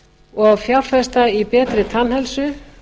og að fjárfesta í betri tannheilsu